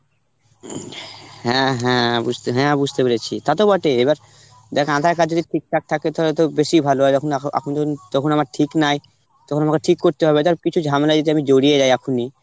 হ্যাঁ হ্যাঁ বুঝতে, হ্যাঁ বুঝতে পেরেছি. সেটা তো বটে এবার যাক aadhar card যদি ঠিকঠাক থাকে তাহলে তো বেশি ভালো হয় যখন এখন এখন আমার ঠিক নাই তখন আমার ঠিক করতে হবে ধর কিছু ঝামেলায় যদি আমি জড়িয়ে যাই এখনই